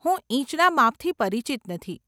હું ઈંચના માપથી પરિચિત નથી.